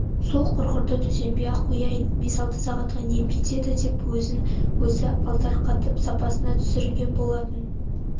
сол құрғырды төсенбей-ақ қояйын бес-алты сағатқа нем кетеді деп өзін өзі алдарқатып сабасына түсірген болды